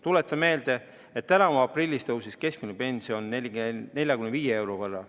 Tuletan meelde, et tänavu aprillis tõusis keskmine pension 45 euro võrra.